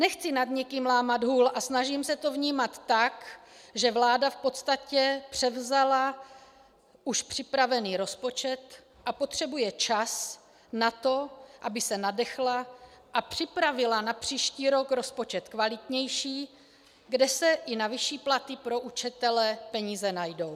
Nechci nad nikým lámat hůl a snažím se to vnímat tak, že vláda v podstatě převzala už připravený rozpočet a potřebuje čas na to, aby se nadechla a připravila na příští rok rozpočet kvalitnější, kde se i na vyšší platy pro učitele peníze najdou.